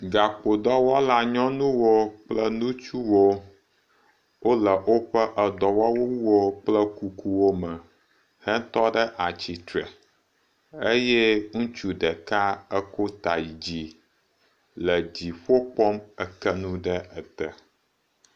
Gakpodɔwɔla nyɔnuwo kple ŋutsuwo wo le woƒe edɔwɔwuwo kple kukuwo me eye ŋutsu ɖeka eko ta yi dzi le dziƒo kpɔm eke nu ɖe ete.